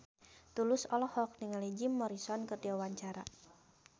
Tulus olohok ningali Jim Morrison keur diwawancara